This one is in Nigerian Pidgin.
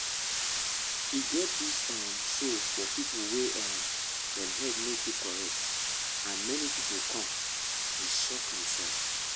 i no been take the mata of people wey dem head no too correct and for mind o until e do um me last year